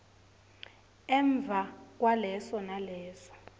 emva kwaleso naleso